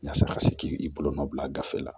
Yasa ka se k'i bolo nɔ bila gafe la